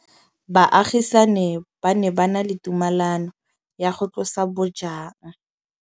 Baagisani ba ne ba na le tumalanô ya go tlosa bojang.